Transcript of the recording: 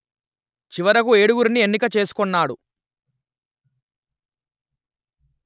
చివరకు ఏడుగురిని ఎన్నిక చేసుకొన్నాడు